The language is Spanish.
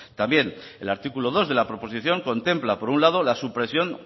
también el artículo dos de la proposición contempla por un lado la supresión